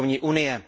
bankovní unie.